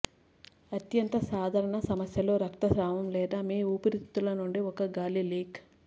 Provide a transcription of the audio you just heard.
అత్యంత సాధారణ సమస్యలు రక్తస్రావం లేదా మీ ఊపిరితిత్తుల నుండి ఒక గాలి లీక్